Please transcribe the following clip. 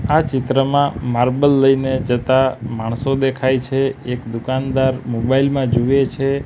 આ ચિત્રમાં માર્બલ લઈને જતા માણસો દેખાય છે એક દુકાનદાર મોબાઇલ માં જુએ છે.